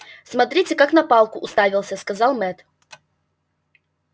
смотрите как на палку уставился сказал мэтт